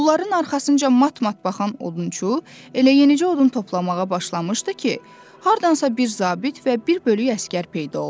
Onların arxasınca mat-mat baxan odunçu elə yenicə odun toplamağa başlamışdı ki, hardansa bir zabit və bir bölük əsgər peyda oldu.